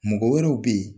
Mɔgɔ wɛrɛw be yen